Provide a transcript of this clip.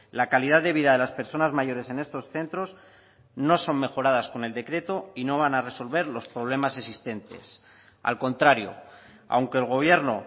la calidad de vida de las personas mayores en estos centros no son mejoradas con el decreto y no van a resolver los problemas existentes al contrario aunque el gobierno